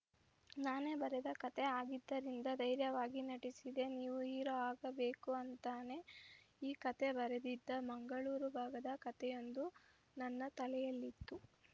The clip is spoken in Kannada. ನಾನೇ ಬರೆದ ಕತೆ ಆಗಿದ್ದರಿಂದ ಧೈರ್ಯವಾಗಿ ನಟಿಸಿದೆ ನೀವು ಹೀರೋ ಆಗಬೇಕು ಅಂತಾನೆ ಈ ಕತೆ ಬರೆದಿದ್ದಾ ಮಂಗಳೂರು ಭಾಗದ ಕತೆಯೊಂದು ನನ್ನ ತಲೆಯಲ್ಲಿತ್ತು